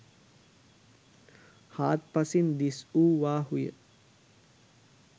හාත්පසින් දිස්වූවාහු ය.